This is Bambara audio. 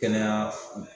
Kɛnɛya